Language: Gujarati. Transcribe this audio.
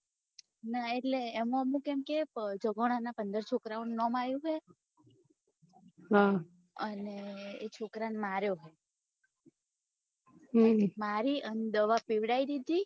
ના એટલે એમાં અમુક એમ કોઈ કે જગણા ના પંદર છોકરાં ઓ નું નામ આવું હે હમ અને એ છોકરાં ને માર્યો મારી ને દવા પીવડાઈ ધીધી